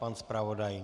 Pan zpravodaj?